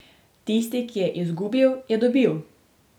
Tisti, ki je izgubil, je dobil.